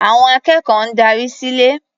Àwọn akẹ́kọ̀ọ́ ń darí sílé.